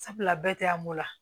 Sabula bɛɛ tɛ an ko la